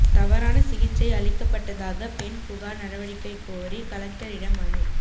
தவறான சிகிச்சை அளிக்கப்பட்டதாக பெண் புகார் நடவடிக்கைகோரி கலெக்டரிடம் மனு